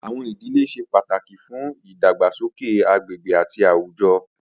Awọn idile ṣe pataki fun idagbasoke agbegbe ati awujọ